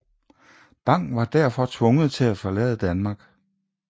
Bang var derfor tvunget til at forlade Danmark